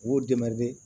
U b'u